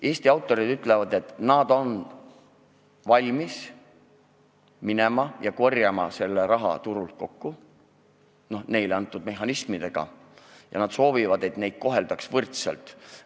Eesti autorid ütlevad, et nad on valmis minema ja korjama selle raha turult kokku – neile antud mehhanismidega –, ning soovivad, et neid koheldaks võrdselt.